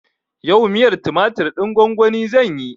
Yau miyar tumatir ɗin gwan-gwani zanyi.